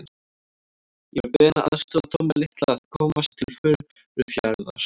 Ég var beðinn að aðstoða Tomma litla að komast til Furufjarðar.